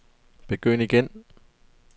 begynd igen